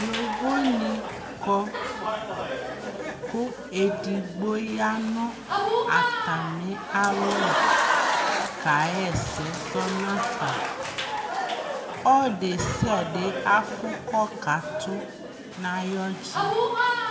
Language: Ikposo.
yɔvɔ ni kɔ kʋ ɛdigbɔ yanʋ atami alɔ kayɛsɛ zɔnʋ aƒa, ɔdɛsiadɛ aƒʋ kɔ katʋ nʋ ayi ɔdzi